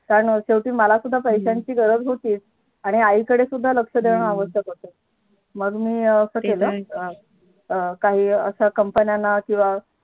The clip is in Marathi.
कारण शेवटी मला सुद्धा पैश्यांची गरज होती. आणि आई कडे सुद्धा लक्ष देणे आवश्यक होत. मग मी अं काही अश्या Company ना किंवा